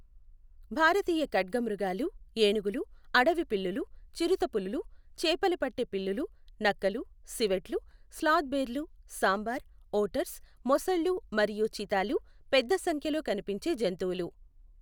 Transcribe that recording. భారతీయ ఖడ్గమృగాలు, ఏనుగులు, అడవి పిల్లులు, చిరుతపులులు, చేపలు పట్టే పిల్లులు, నక్కలు, సివెట్లు, స్లాత్ బేర్లు, సాంబార్, ఓటర్స్, మొసళ్ళు మరియు చితాలు పెద్ద సంఖ్యలో కనిపించే జంతువులు.